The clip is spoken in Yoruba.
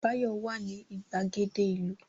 Báyọ̀ wà ní ìgbàgede ìlú